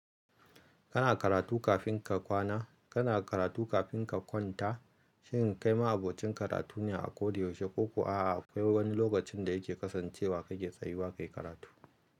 Kana karatu kafin ka kwana? Kana karatu kafin ka kwanta? Shin kai ma'abocin karatu ne a koda yaushe? Ko ko a'a akwai wani lokacin da yake kasancewa kake tsayuwa kayi karatu?